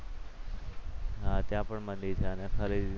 હા ત્યાં પણ મંદિર છે અને